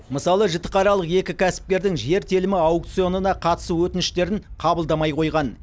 мысалы жітіқаралық екі кәсіпкердің жер телімі аукционына қатысу өтініштерін қабылдамай қойған